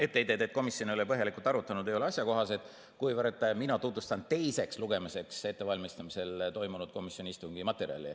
Etteheited, et komisjon ei ole põhjalikult arutanud, ei ole asjakohased, kuivõrd mina tutvustan teiseks lugemiseks ettevalmistamisel toimunud komisjoni istungi materjali.